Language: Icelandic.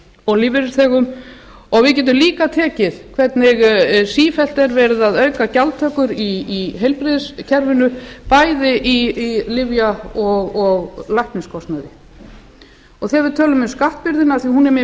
og lífeyrisþegum og við getum líka tekið hvernig sífellt er verið að auka gjaldtökur í heilbrigðiskerfinu bæði í lyfja og lækniskostnaði ef við tölum um skattbyrðina af því að hún er mér